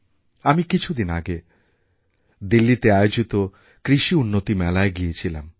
আমি কিছুদিন আগে দিল্লিতে আয়োজিত কৃষিউন্নতি মেলায় গিয়েছিলাম